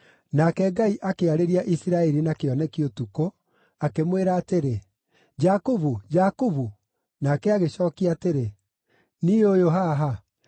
Nake Ngai akĩarĩria Isiraeli na kĩoneki ũtukũ, akĩmwĩra atĩrĩ, “Jakubu! Jakubu!” Nake agĩcookia atĩrĩ, “Niĩ ũyũ haha.”